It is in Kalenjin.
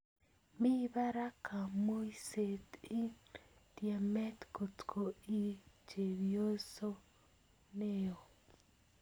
Mii parak kamuiset ing tiemet kotko ii chebioso neo.